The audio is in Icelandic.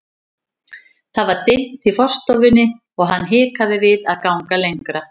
Það var dimmt í forstofunni og hann hikaði við að ganga lengra.